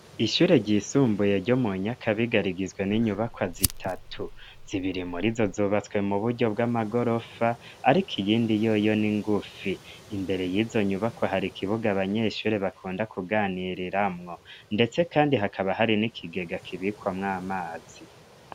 Ishure ryisumbuye ryo mu Nyakabiga rigizwe n'inyubakwa zitatu, zibiri murizo zubatswe mu buryo bw'amagorofa ariko iyindi yoyo ni ngufi, imbere y'izo nyubakwa hari ikibuga abanyeshure bakunda kuganiriramwo, ndetse kandi hakaba hari n'ikigega kibikwamwo amazi.